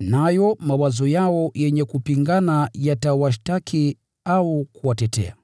nayo mawazo yao yenye kupingana yatawashtaki au kuwatetea.)